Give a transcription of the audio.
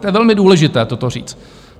To je velmi důležité, toto říct.